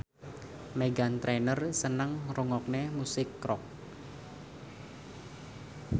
Meghan Trainor seneng ngrungokne musik rock